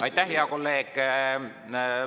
Aitäh, hea kolleeg!